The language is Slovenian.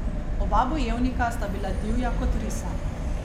Oba bojevnika sta bila divja kot risa.